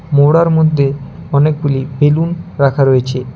মোড়ার মধ্যে অনেকগুলি বেলুন রাখা রয়েছে।